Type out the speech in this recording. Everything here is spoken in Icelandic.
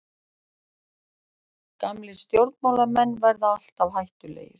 Gamlir stjórnmálamenn verða alltaf hættulegir.